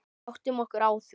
Áttum okkur á því.